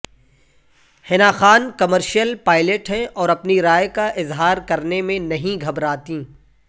حنا Khan commercial pilot ہیں اور اپنی رائے کا اظہار کرنے میں نہیں گھبراتیں